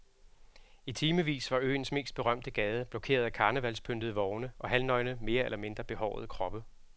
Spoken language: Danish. I timevis var øens mest berømte gade blokeret af karnevalspyntede vogne og halvnøgne mere eller mindre behårede kroppe.